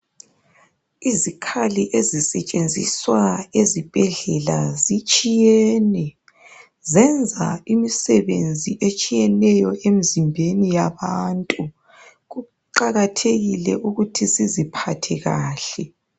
Izikhali ezisetshenziswa ezibhedlela zitshiyene. Zenza imisebenzi etshiyeneyo emzimbeni yabantu. Kuqakathekile ukuthi siziphathe kahle.